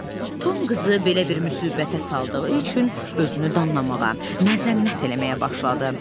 Tom qızı belə bir müsibətə saldığı üçün özünü danlamağa, məzəmmət eləməyə başladı.